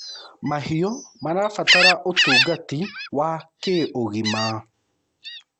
mahiũ marabatara utungati wa kĩũgima